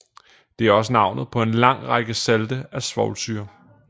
Det er også navnet på en lang række salte af svovlsyre